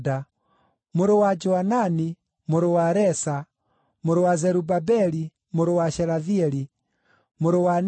mũrũ wa Joanani, mũrũ wa Resa, mũrũ wa Zerubabeli, mũrũ wa Shelathieli, mũrũ wa Neri,